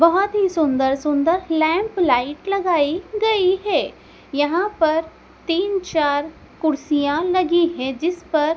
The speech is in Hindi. बहोत ही सुंदर सुंदर लैंप लाइट लगाई गई है यहां पर तीन चार कुर्सियां लगी हैं जिस पर--